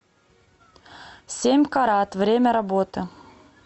семь карат время работы